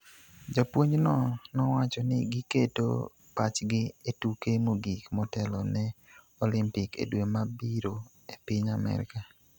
Japuonjno nowacho ni giketo pachgi e tuke mogik motelo ne Olimpik e dwe mabiro e piny Amerka.